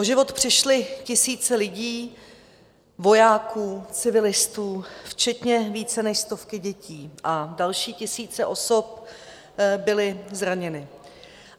O život přišly tisíce lidí, vojáků, civilistů včetně více než stovky dětí a další tisíce osob byly zraněny.